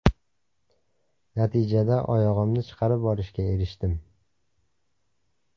Natijada oyog‘imni chiqarib olishga erishdim.